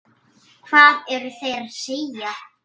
Hvað eru þeir að segja?